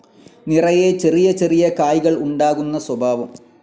നിറയെ ചെറിയ ചെറിയ കായ്കൾ ഉണ്ടാകുന്ന സ്വഭാവം.